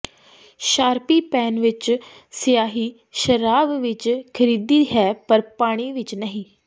Sharpie pen ਵਿੱਚ ਸਿਆਹੀ ਸ਼ਰਾਬ ਵਿੱਚ ਘਿਰਦੀ ਹੈ ਪਰ ਪਾਣੀ ਵਿੱਚ ਨਹੀਂ